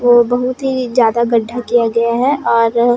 ये बहुत ही ज्यादा गड्ढा किया गया है और--